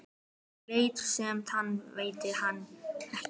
Lét sem hann sæi hana ekki.